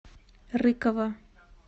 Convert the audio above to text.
рыкова